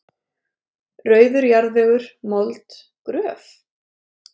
Rauður jarðvegur, mold, gröf?